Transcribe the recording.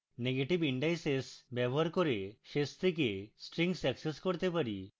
negative indices ব্যবহার করে শেষ থেকে strings অ্যাক্সেস করতে পারি